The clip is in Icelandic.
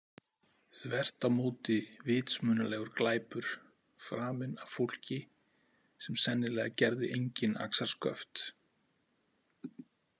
Þvert á móti vitsmunalegur glæpur framinn af fólki sem sennilega gerði engin axarsköft.